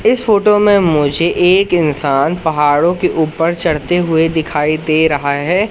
इस फोटो में मुझे एक इंसान पहाड़ों के ऊपर चढ़ते हुए दिखाई दे रहा है।